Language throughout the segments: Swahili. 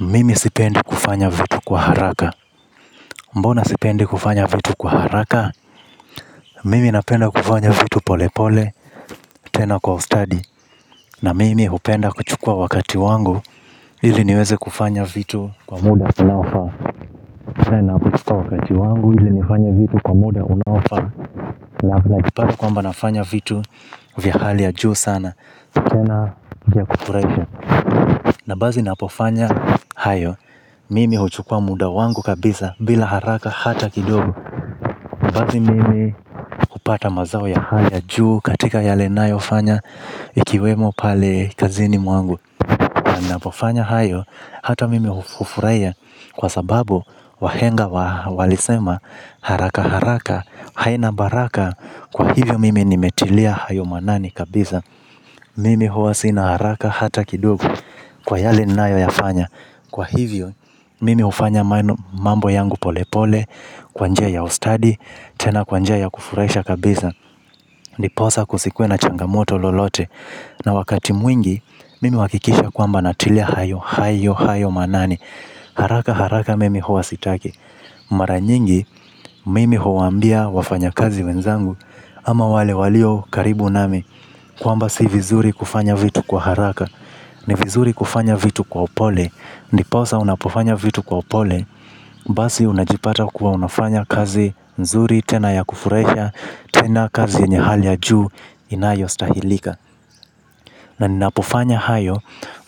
Mimi sipendi kufanya vitu kwa haraka. Mbona sipendi kufanya vitu kwa haraka? Mimi napenda kufanya vitu pole pole. Tena kwa Ustadi Na mimi hupenda kuchukua wakati wangu. Ili niweze kufanya vitu kwa muda unaofa. Tena kuchukua wangu ili nifanye vitu kwa muda unaofa. Naam najipata kwamba nafanya vitu vya hali ya juu sana. Tena vya kufurahisha. Na basi napofanya Hayo Mimi huchukua muda wangu kabisa bila haraka hata kidogo. Basi mimi hupata mazao ya hali ya juu katika yale nayo fanya ikiwemo pale kazini mwangu na pofanya hayo hata mimi hufurahia kwa sababu wahenga walisema haraka haraka. Haina baraka kwa hivyo mimi nimetilia hayo maanani kabisa. Mimi huwa sina haraka hata kidogo kwa yale nayo ya fanya. Kwa hivyo, mimi hufanya mambo yangu pole pole, kwa njia ya ustadi, tena kwa njia ya kufurahisha kabisa. Ndiposa kusikwe na changamoto lolote. Na wakati mwingi, mimi huhakikisha kwamba natilia hayo, hayo, hayo maanani. Haraka haraka mimi huwa sitaki. Mara nyingi, mimi huwaambia wafanya kazi wenzangu. Ama wale walio karibu nami kwamba si vizuri kufanya vitu kwa haraka. Ni vizuri kufanya vitu kwa upole. Ndiposa unapofanya vitu kwa pole. Basi unajipata kuwa unafanya kazi nzuri. Tena ya kufurahisha. Tena kazi yenye hali ya juu inayo stahilika. Na ninapofanya hayo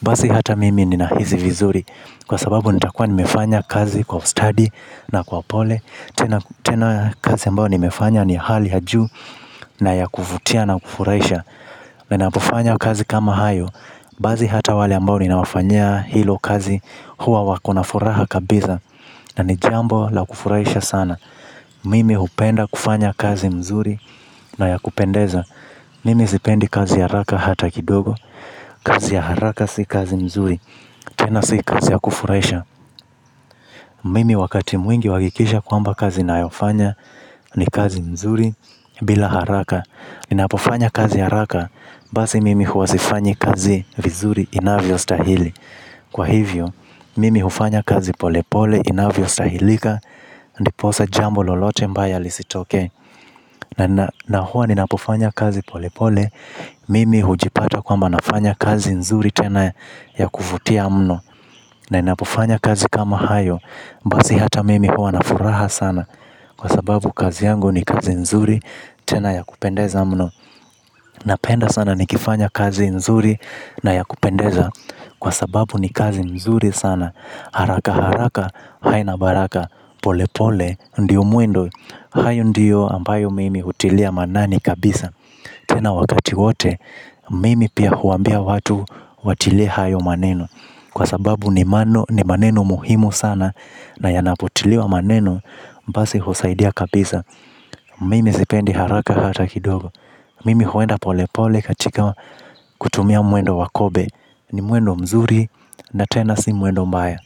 basi hata mimi nina hisi vizuri. Kwa sababu nitakua nimefanya kazi kwa ustadi na kwa upole tena tena kazi ambao nimefanya ni hali ya juu. Na ya kuvutia na kufurahisha. Ninapofanya kazi kama hayo basi hata wale ambao ninawafanyia hilo kazi huwa wakona furaha kabisa na ni jambo la kufurahisha sana. Mimi hupenda kufanya kazi mzuri na ya kupendeza. Mimi zipendi kazi ya haraka hata kidogo. Kazi ya haraka si kazi mzuri, tena si kazi ya kufurahisha. Mimi wakati mwingi huhakikisha kwamba kazi nayofanya ni kazi mzuri bila haraka ninapofanya kazi haraka, basi mimi huwasifanyi kazi vizuri inavyostahili. Kwa hivyo, mimi hufanya kazi pole pole, inavyostahilika, ndiposa jambo lolote mbaya lisitoke. Na huwa ninapofanya kazi pole pole, mimi hujipata kwamba nafanya kazi nzuri tena ya kuvutia mno. Ninapofanya kazi kama hayo, basi hata mimi huwa nafuraha sana. Kwa sababu kazi yangu ni kazi nzuri tena ya kupendeza mno. Napenda sana nikifanya kazi nzuri na ya kupendeza kwa sababu ni kazi nzuri sana. Haraka haraka haina baraka pole pole ndio mwendo. Hayo ndiyo ambayo mimi hutilia maanani kabisa. Tena wakati wote mimi pia huambia watu watilie hayo maneno. Kwa sababu ni mano ni maneno muhimu sana na yanapotiliwa maneno basi husaidia kabisa. Mimi sipendi haraka hata kidogo. Mimi huenda pole pole katika kutumia mwendo wa kobe. Ni mwendo mzuri na tena si mwendo mbaya.